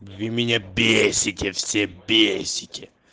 вы меня бесите все бесите